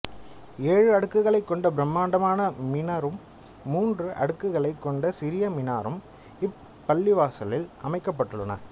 ஏழு அடுக்குகளைக் கொண்ட பிரமாண்டமான மினாரும் மூன்று அடுக்குகளைக் கொண்ட சிறிய மினாரும் இப்பள்ளிவாசலில் அமைக்கப்பட்டுள்ளன